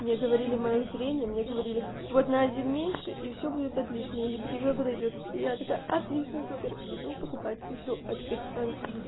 мне говорили моё зрение мне говорили вот на один меньше и всё будет отлично и по тебе подойдёт и я такая отлично супер иду покупать и всё а тут надо